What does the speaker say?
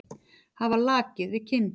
Hafa lakið við kinn.